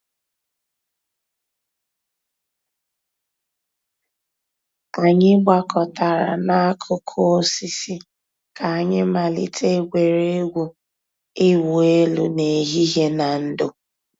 Ànyị̀ gbàkọ̀tárà n'àkùkò òsìsì kà ànyị̀ màlítè ègwè́régwụ̀ ị̀wụ̀ èlù n'èhìhìè nà ndò̩.